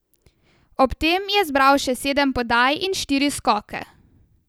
Ob tem je zbral še sedem podaj in štiri skoke.